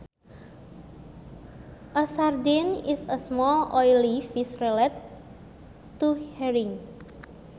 A sardine is a small oily fish related to herring